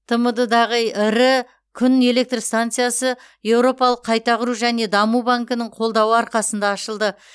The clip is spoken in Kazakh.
тмд дағы ірі күн электр станциясы еуропалық қайта құру және даму банкінің қолдауы арқасында ашылды